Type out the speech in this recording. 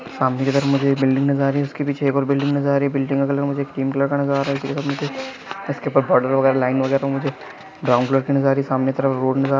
सामने की तरफ मुझे एक बिल्डिंग नजर आ रही है आपके पीछे एक और बिल्डिंग नजर आ रहा है बिल्डिंग का कलर क्रीम कलर का नजर आता है इसके ऊपर बॉर्डर और लाइन वगैरा ब्राउन कलर का नजर रहा है सामने की तरफ से के रस्ते नजर आ--